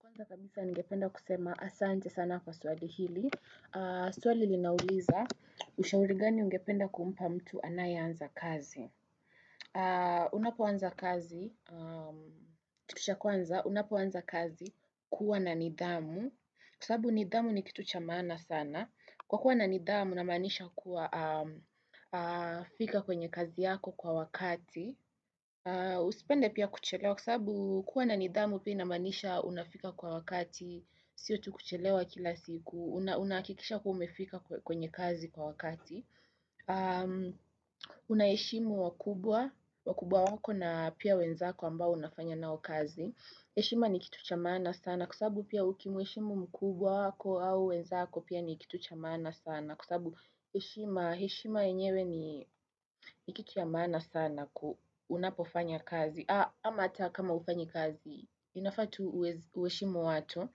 Kwanza kabisa ningependa kusema asante sana kwa swali hili. Swali linauliza, ushauri gani ungependa kumpa mtu anayeanza kazi. Unapoanza kazi, kitu cha kwanza, unapoanza kazi kuwa na nidhamu. Kwa sabu nidhamu ni kitu cha maana sana. Kwa kuwa na nidhamu, namaanisha kuwa fika kwenye kazi yako kwa wakati. Usipende pia kuchelewa kwa sabu kuwa na nidhamu pia inamanisha unafika kwa wakati Sio tu kuchelewa kila siku Unaakikisha kuwa umefika kwenye kazi kwa wakati Unaheshimu wakubwa wako na pia wenzako ambao unafanya nao kazi heshima ni kitu cha maana sana Kwa sabu pia ukimweshimu mkubwa wako au wenzako pia ni kitu cha maana sana Kwa sabu, heshima enyewe ni kitu cha mana sana unapofanya kazi. Ama ata kama ufanyi kazi, inafaa tu ueshimu watu.